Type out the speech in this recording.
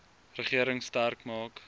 regering sterk maak